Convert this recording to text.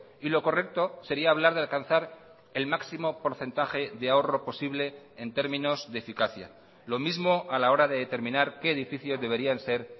y lo correcto sería hablar de alcanzar el máximo porcentaje de ahorro posible en términos de eficacia lo mismo a la hora de determinar qué edificios deberían ser